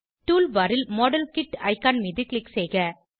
tool bar ல் model kit icon மீது click செய்க